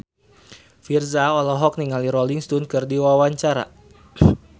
Virzha olohok ningali Rolling Stone keur diwawancara